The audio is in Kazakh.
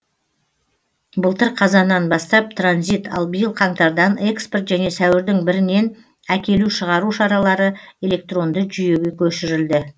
былтыр қазаннан бастап транзит ал биыл қаңтардан экспорт және сәуірдің бірінен әкелу шығару шаралары электронды жүйеге көшірілді